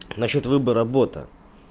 насчёт выбора бота